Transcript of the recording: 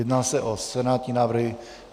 Jedná se o senátní návrhy.